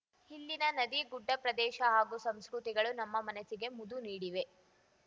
ಇಲ್ಲಿನ ನದಿ ಗುಡ್ಡ ಪ್ರದೇಶ ಹಾಗೂ ಸಂಸ್ಕೃತಿಗಳು ನಮ್ಮ ಮನಸ್ಸಿಗೆ ಮುದು ನೀಡಿವೆ